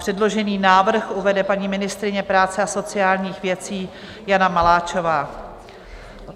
Předložený návrh uvede paní ministryně práce a sociálních věcí Jana Maláčová.